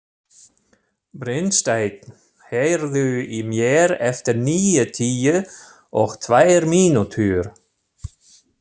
Brynsteinn, heyrðu í mér eftir níutíu og tvær mínútur.